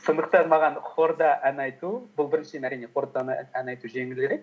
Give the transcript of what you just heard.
сондықтан маған хорда ән айту бұл біріншіден әрине хорда ән айту жеңілірек